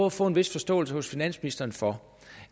at få en vis forståelse hos finansministeren for